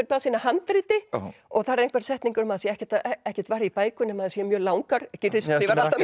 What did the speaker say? blaðsíðna handriti og það eru einhverjar setningar um að það sé ekkert ekkert varið í bækur nema þær séu mjög langar gyrðir skrifar alltaf